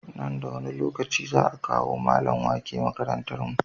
Nan da wani lokaci za a kawo mallamin wake makarantar mu